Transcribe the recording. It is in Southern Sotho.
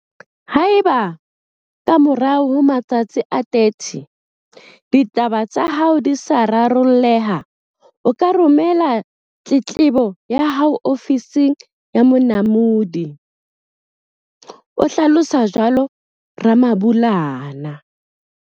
Haeba, ka morao ho matsatsi a 30, ditaba tsa hao di sa raro lleha, o ka romela tletlebo ya hao ho Ofising ya Monamodi, o hlalosa jwalo Ramabulana.